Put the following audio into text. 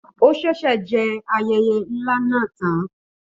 Ó ṣẹ̀ṣẹ̀ jẹ ayẹyẹ ńlá náà tán.